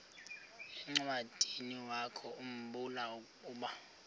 encwadiniwakhu mbula ukuba